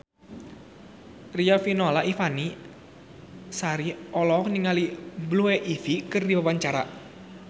Riafinola Ifani Sari olohok ningali Blue Ivy keur diwawancara